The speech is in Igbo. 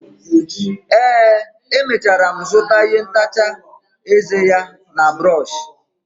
ee, emechara m zụta ihe ntacha eze ya na brọsh